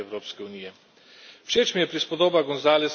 Je tudi pomemben korak pri stabilizaciji Evropske unije.